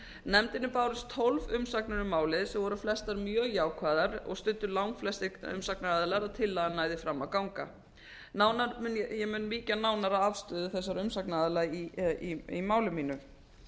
nefndinni bárust tólf umsagnir um málið sem voru flestar mjög jákvæðar og studdu langflestir umsagnaraðilar að tillagan næði fram að ganga ég mun víkja nánar að afstöðu þessara umsagnaraðila í máli mínu